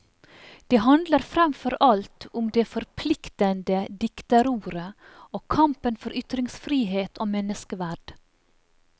Det handler fremfor alt om det forpliktende dikterordet og kampen for ytringsfrihet og menneskeverd.